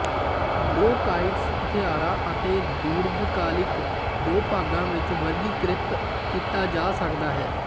bronchitis ਹੱਤਿਆਰਾ ਅਤੇ ਦੀਰਘਕਾਲਿਕ ਦੋ ਭਾਗਾਂ ਵਿੱਚ ਵਰਗੀਕ੍ਰਿਤ ਕੀਤਾ ਜਾ ਸਕਦਾ ਹੈ